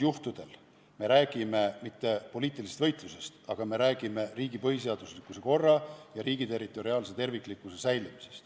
Me ei räägi poliitilisest võitlusest, me räägime riigi põhiseadusliku korra ja riigi territoriaalse terviklikkuse säilimisest.